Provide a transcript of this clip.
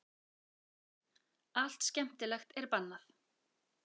Allt skemmtilegt er bannað.